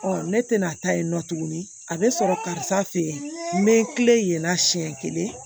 ne tɛna taa yen nɔ tuguni a bɛ sɔrɔ karisa fe yen n be n kilen yen na siɲɛ kelen